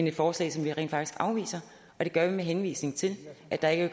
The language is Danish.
et forslag som vi rent faktisk afviser og det gør vi med henvisning til at der ikke